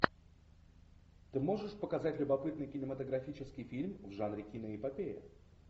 ты можешь показать любопытный кинематографический фильм в жанре киноэпопея